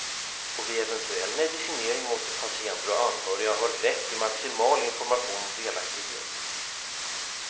Och vid eventuell medicinering måste patienter och anhöriga ha rätt till maximal information och delaktighet.